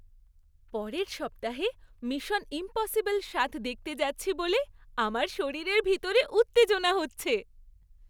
পরের সপ্তাহে mission impossible সাত দেখতে যাচ্ছি বলে আমার শরীরের ভিতরে উত্তেজনা হচ্ছে!